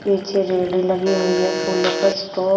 नीचे रेड़ी लगी हुई है फूलों का स्टॉक --